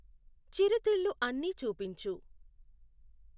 చిరుతిళ్ళు అన్ని చూపించు